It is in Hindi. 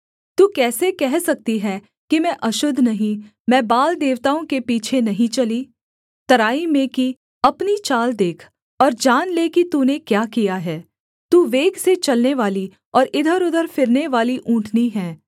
तू कैसे कह सकती है कि मैं अशुद्ध नहीं मैं बाल देवताओं के पीछे नहीं चली तराई में की अपनी चाल देख और जान ले कि तूने क्या किया है तू वेग से चलने वाली और इधरउधर फिरनेवाली ऊँटनी है